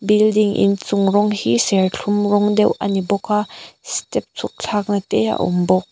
building in chung rawng hi serthlum rawng deuh ani bawk a step chhuk thlak na te a awm bawk.